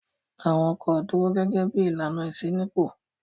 Àwọn ọkọ̀ dúró gẹ́gẹ́ bí ìlànà ìṣínípò.